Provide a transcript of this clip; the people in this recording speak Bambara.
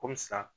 Komi sa